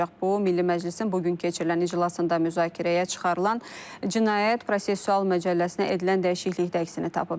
Bu, Milli Məclisin bu gün keçirilən iclasında müzakirəyə çıxarılan Cinayət Prosessual Məcəlləsinə edilən dəyişiklikdə əksini tapıb.